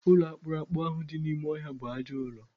Ụlọ akpụrụakpụ ahụ dị n'ime ọhịa bụ ajọọ ụlọ.